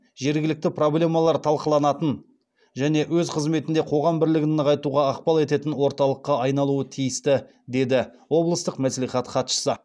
жергілікті проблемалар талқыланатын және өз қызметінде қоғам бірлігін нығайтуға ықпал ететін орталыққа айналуы тиісті деді облыстық мәслихат хатшысы